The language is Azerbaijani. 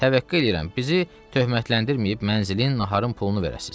Təvəqqə eləyirəm, bizi töhmətləndirməyib mənzilin, naharın pulunu verəsiz.